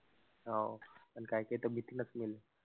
हो. पण काई काई तब्येती नसेल.